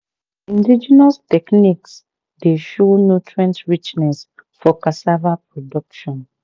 indigenous techniques dey show nutrient richness for cassava production.